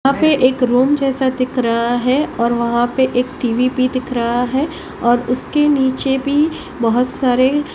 हां पे एक रूम जैसा दिख रहा है और वहां पे एक टी_वी भी दिख रहा है और उसके नीचे भी बहोत सारे--